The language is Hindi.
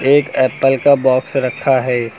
एक एप्पल का बॉक्स रखा है।